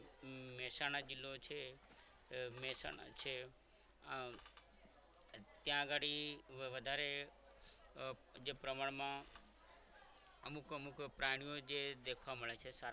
મહેસાણા જિલ્લો છે મહેસાણા છે આમ ત્યાં ઘણી વધારે જે પ્રમાણમાં અમુક અમુક પ્રાણીઓ જે દેખવા મળે છે સારા